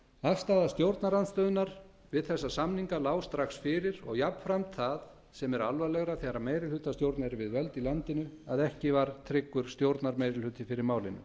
afstaða stjórnarandstöðunnar við þessa samninga lá strax fyrir og jafnframt það sem er alvarlegra þegar meirihlutastjórn er við völd í landinu að ekki var tryggur stjórnarmeirihluti fyrir málinu